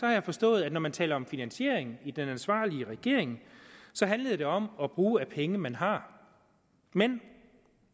jeg forstået at når man taler om finansiering i den ansvarlige regering handler det om at bruge af penge man har men